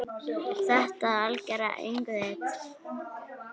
Þetta algera öngvit?